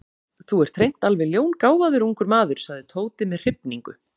Þú ert hreint alveg ljóngáfaður ungur maður sagði Tóti með hrifningu.